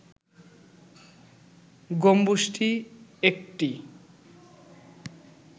গম্বুজটি একটি